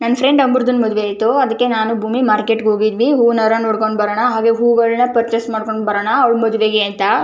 ನನ್ನ ಫ್ರೆಂಡ್ ಒಬ್ಬರದು ಮದುವೆ ಇತ್ತು ಅದಕ್ಕೆ ನಾನು ಭೂಮಿ ಮಾರ್ಕೆಟ್ ಗೆ ಹೋಗಿದ್ವಿ ಹೂವಿನ ಹಾರ ನೋಡ್ಕೊಂಡು ಬರೋಣ ಹಾಗು ಹೂಗಳನ್ನ ಪರ್ಚೆಸ್ ಮಾಡ್ಕೊಂಡು ಬರೋಣ ಅವಳ ಮದುವೆಗೆ ಅಂತ.